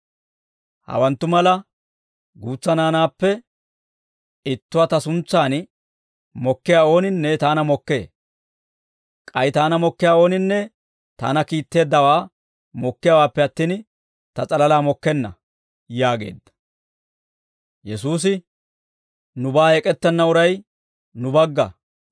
«Hawanttu mala guutsa naanaappe ittuwaa ta suntsan mokkiyaa ooninne taana mokkee; k'ay taana mokkiyaa ooninne taana kiitteeddawaa mokkiyaawaappe attin, ta s'alalaa mokkenna» yaageedda.